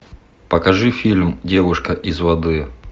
покажи фильм девушка из воды